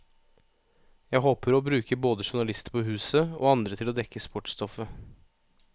Jeg håper å bruke både journalister på huset, og andre til å dekke sportsstoffet.